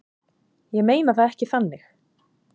Ég meina það ekki þannig.